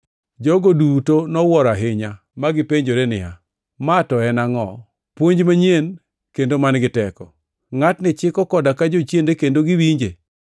Jogo duto nowuoro ahinya, magipenjore niya, “Ma to en angʼo? Puonj manyien kendo man-gi teko! Ngʼatni chiko koda ka jochiende kendo giwinje.”